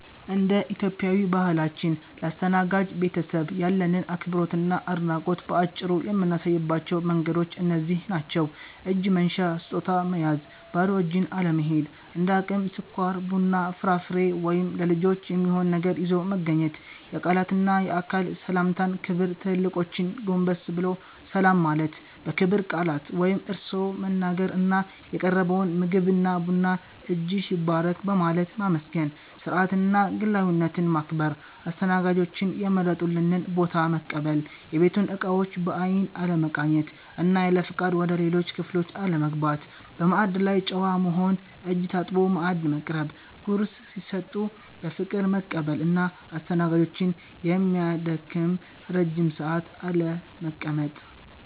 እንደ ኢትዮጵያዊ ባህላችን፣ ለአስተናጋጅ ቤተሰብ ያለንን አክብሮትና አድናቆት በአጭሩ የምናሳይባቸው መንገዶች እነዚህ ናቸው፦ እጅ መንሻ (ስጦታ) መያዝ ባዶ እጅን አለመሄድ፤ እንደ አቅም ስኳር፣ ቡና፣ ፍራፍሬ ወይም ለልጆች የሚሆን ነገር ይዞ መገኘት። የቃላትና የአካል ሰላምታ ክብር ትልልቆችን ጎንበስ ብሎ ሰላም ማለት፣ በክብር ቃላት (እርስዎ) መናገር እና የቀረበውን ምግብና ቡና "እጅሽ ይባረክ" በማለት ማመስገን። ስርዓትንና ግላዊነትን ማክበር አስተናጋጆች የመረጡልንን ቦታ መቀበል፣ የቤቱን እቃዎች በአይን አለመቃኘት እና ያለፍቃድ ወደ ሌሎች ክፍሎች አለመግባት። በማዕድ ላይ ጨዋ መሆን እጅ ታጥቦ ማዕድ መቅረብ፣ ጉርስ ሲሰጡ በፍቅር መቀበል እና አስተናጋጆችን የሚያደክም ረጅም ሰዓት አለመቀመጥ።